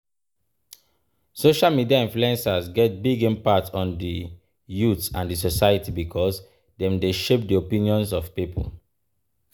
Social media influencers get big impact on di youth and di society because dem dey shape di opinions of people.